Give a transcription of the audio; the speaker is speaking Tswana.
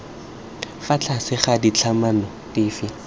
fa tlase ga ditlhatlhamano dife